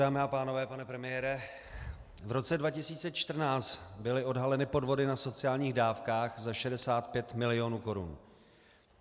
Dámy a pánové, pane premiére, v roce 2014 byly odhaleny podvody na sociálních dávkách za 65 milionů korun.